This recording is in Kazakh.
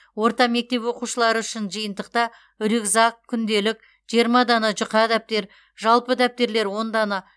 орта мектеп оқушылары үшін жиынтықта рюкзак күнделік жиыма дана жұқа дәптер жалпы дәптерлер он дана